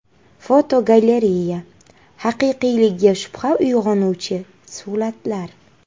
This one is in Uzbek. Fotogalereya: Haqiqiyligiga shubha uyg‘onuvchi suratlar.